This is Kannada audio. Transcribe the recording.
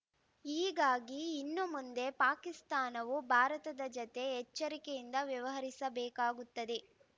ಹೀಗಾಗಿ ಇನ್ನು ಮುಂದೆ ಪಾಕಿಸ್ತಾನವು ಭಾರತದ ಜತೆ ಎಚ್ಚರಿಕೆಯಿಂದ ವ್ಯವಹರಿಸಬೇಕಾಗುತ್ತದೆ